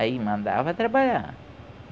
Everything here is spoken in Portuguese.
Aí mandava trabalhar.